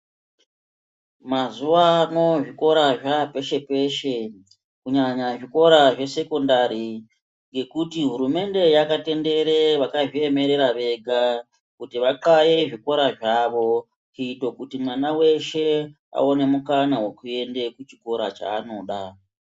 Mazuwano zvikora zvapeshe peshe kunyanya zvikora zvesekondari ngekuti hurumende yakatendere vakazviemerera vega vaxaye zvikora zvawo kuito kuti mwana weshe aone mukana wekuenda kuchikora chaanoda.